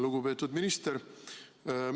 Lugupeetud minister!